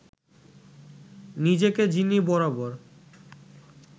নিজেকে যিনি বরাবর